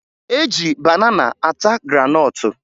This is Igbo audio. E ji banana ata granọtụ